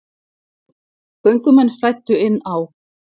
Göngumenn flæddu inn á